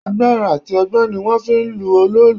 Agbára àti ọgbọ́n ni wón fi ń lọ òòlù.